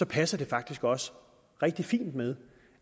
passer det faktisk også rigtig fint med